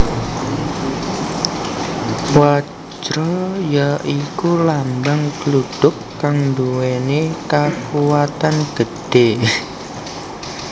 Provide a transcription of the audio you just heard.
Wajra ya iku lambang gludhug kang nduwèni kakuwatan gedhé